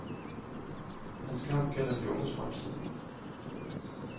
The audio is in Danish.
Hans kamp gælder de unges fremtid.